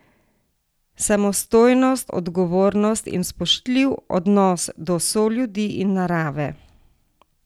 Samostojnost, odgovornost in spoštljiv odnos do soljudi in narave.